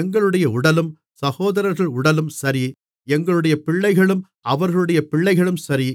எங்களுடைய உடலும் சகோதரர்கள் உடலும் சரி எங்களுடைய பிள்ளைகளும் அவர்களுடைய பிள்ளைகளும் சரி